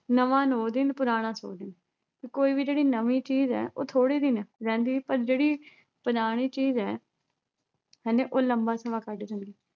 ਨਵਾਂ ਨੌਂ ਦਿਨ, ਪੁਰਾਣਾ ਸੌ ਦਿਨ। ਵੀ ਕੋਈ ਵੀ ਜਿਹੜੀ ਨਵੀਂ ਚੀਜ਼ ਐ ਉਹ ਥੋੜੇ ਦਿਨ ਐ ਰਹਿੰਦੀ ਪਰ ਜਿਹੜੀ ਪੁਰਾਣੀ ਚੀਜ਼ ਐ ਹੈਨਾ ਉਹ ਲੰਬਾ ਸਮਾਂ ਕੱਢ ਜਾਂਦੀ